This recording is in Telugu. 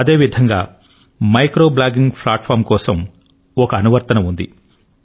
అదేవిధంగా మైక్రో బ్లాగింగ్ ప్లాట్ఫార్మ్ కోసం ఒక యాప్ ఉంది